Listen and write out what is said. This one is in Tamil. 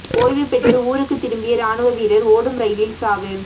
ஓய்வு பெற்று ஊருக்கு திரும்பிய ராணுவ வீரர் ஓடும் ரெயிலில் சாவு